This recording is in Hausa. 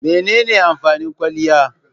Mene ne amfanin kwaliya?